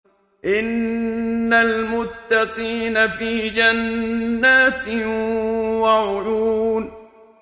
إِنَّ الْمُتَّقِينَ فِي جَنَّاتٍ وَعُيُونٍ